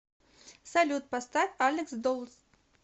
салют поставь алекс долс